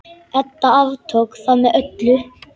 Edda aftók það með öllu.